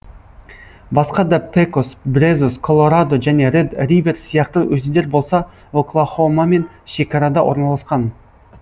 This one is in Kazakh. басқа да пекос брезос колорадо және ред ривер сияқты өзендер болса оклахомамен шекарада орналасқан